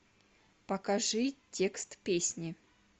покажи текст песни